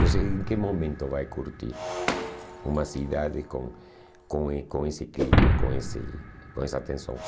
Você em que momento vai curtir uma cidade com com eh com esse clima, com esse com essa tensão?